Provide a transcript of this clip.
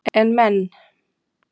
En menn